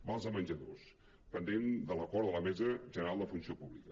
vals de menjadors pendent de l’acord de la mesa general de la funció pública